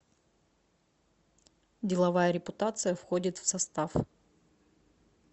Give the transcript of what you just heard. деловая репутация входит в состав